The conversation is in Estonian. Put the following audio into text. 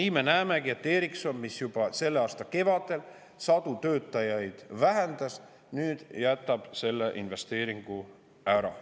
Nii me näemegi, et Ericsson, mis juba selle aasta kevadel sadu töötajaid, jätab nüüd selle investeeringu ära.